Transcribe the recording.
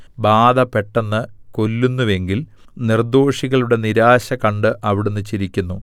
ബാധ പെട്ടെന്ന് കൊല്ലുന്നുവെങ്കിൽ നിർദ്ദോഷികളുടെ നിരാശ കണ്ട് അവിടുന്ന് ചിരിക്കുന്നു